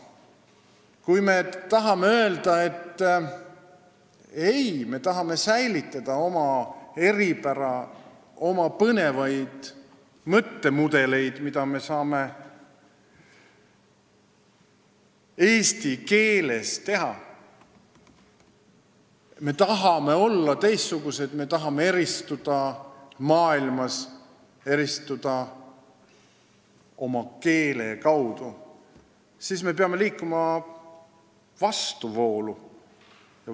Kui me soovime öelda, et ei, me tahame säilitada oma eripära, oma põnevad mõttemudelid, mida eesti keel võimaldab, et me tahame olla teistsugused, me tahame maailmas eristuda, ja eristuda ka oma keele abil, siis me peame liikuma vastuvoolu.